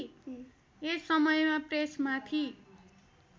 यस समयमा प्रेसमाथि